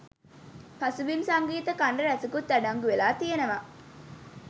පසුබිම් සංගීත ඛණ්ඩ ‍රැසකුත් අඩංගුවෙලා තියෙනව.